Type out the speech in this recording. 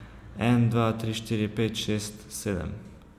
En, dva, tri, štiri, pet, šest, sedem.